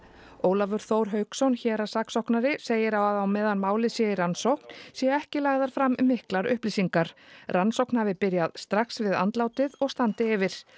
Ólafur Þór Hauksson héraðssaksóknari segir að á meðan málið sé í rannsókn séu ekki lagðar fram miklar upplýsingar rannsókn hafi byrjað strax við andlátið og standi yfir